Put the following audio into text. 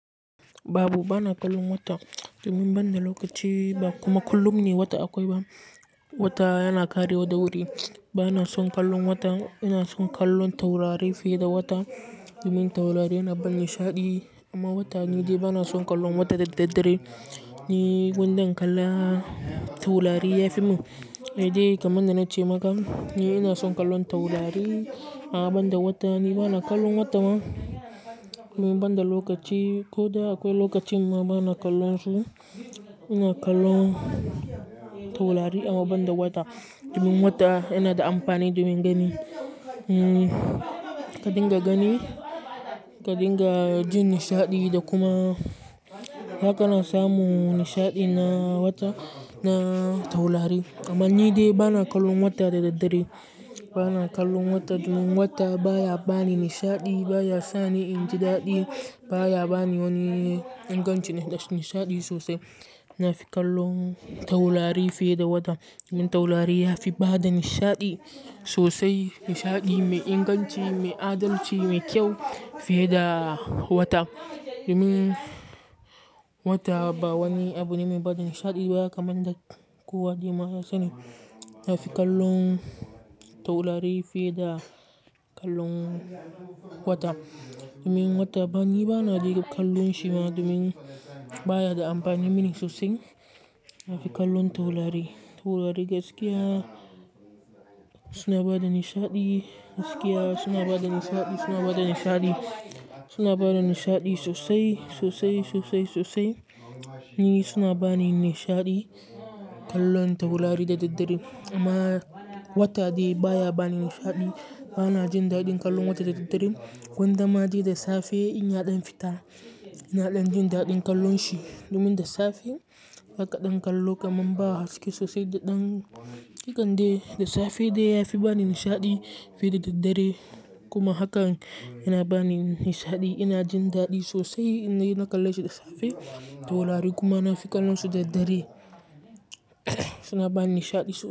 Babu bana kallon wata domin banda lokaci ba kuma kullum ne wata akwai ba. Wata yana karewa da wuri. Bana son kallon wata, ina son kallon taurari fiye da wata domin taurari yana ban nishaɗi amma wata ni dai bana son kallon wata da daddare. Ni gwanda in kalla taurari yafi mun. Kamar da na ce maka ni ina son kallon taurari amma banda wata ni bana kallon wata ni banda lokaci ko da akwai lokacin ma bana kallon shi. Ina kallon taurari amma banda wata domin wata yana da amfani domin gani. Hmm ka dinga gani, ka dinga jin nishaɗi da kuma haka na samu nishaɗi na wata na taurari amma ni dai bana kallon wata da daddare. Bana kallon wata domin wata baya bani nishaɗi, baya sani inji daɗi, baya bani wani ingancin nishaɗi sosai. Na fi kallon taurari fiye da wata domin taurari yafi bada nishaɗi sosai, nishaɗi mai inganci, mai adalci, mai kyau fiye da wata. Domin wata ba wani abu ne mai bada nishaɗi ba kamar da kowa dai ma ya sani. Na fi kallon taurari fiye da kallon wata domin wata ni bana dai kallon shi ma domin baya da amfani mini sosai. Na fi kallon taurari. Taurari gaskiya suna bada nishaɗi, gaskiya suna bada nishaɗi, suna bada nishaɗi, suna bada nishaɗi sosai, sosai, sosai, sosai. Ni suna bani nishaɗi kallon taurari da daddare amma wata dai baya bani nishaɗi. Bana jin daɗin kallon wata da daddare gwanda ma dai da safe in yaɗan fita ina ɗan jin daɗin kallon shi domin da safe haka ɗan kallo kamar ba haske sosai da ɗan hakande da safe dai yafi bani nishaɗi fiye da daddare kuma haka yana bani nishaɗi ina jin daɗi sosai inde na kalle shi da safe. Taurari kuma na fi kallon su da daddare suna bani nishaɗi sosai.